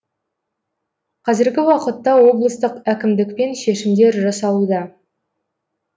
қазіргі уақытта облыстық әкімдікпен шешімдер жасалуда